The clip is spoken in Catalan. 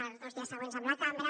els dos dies següents amb la cambra